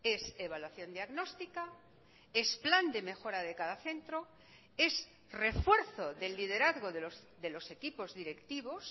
es evaluación diagnóstica es plan de mejora de cada centro es refuerzo del liderazgo de los equipos directivos